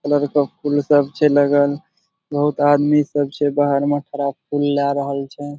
Colour का फूल सब छे लगल। बहुत आदमी सब छे बाहर में खड़ा फूल ले आ रहल छे।